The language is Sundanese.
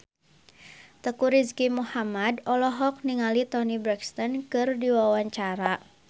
Teuku Rizky Muhammad olohok ningali Toni Brexton keur diwawancara